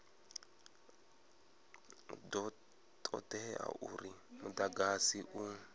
do todea uri mudagasi u